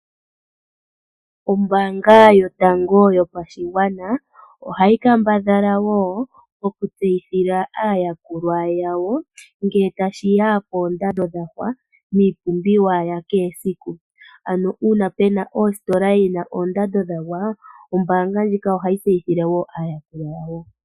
Ombaanga yotango yopashigwana oha yi kambadhala woo oku tseyithila aayakulwa yawo ngee tashiya koondando dhagwa dhiipumbiwa ya kehe esiku, ano uuna pena ositola yina oondanda yagwa, oombaanga ndjika oha yi tseyithile woo aayakulwa yawo.